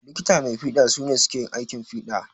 Likita mai fiɗa su ne suke aikin fiɗa.